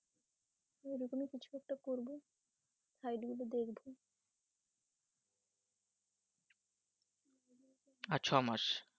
আর ছ মাস